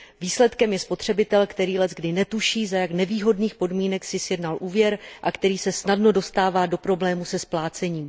Výsledkem je spotřebitel, který leckdy netuší, za jak nevýhodných podmínek si sjednal úvěr, a který se snadno dostává do problémů se splácením.